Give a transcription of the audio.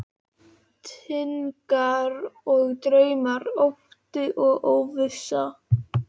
Væntingar og draumar, ótti og óvissa.